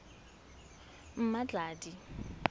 mmatladi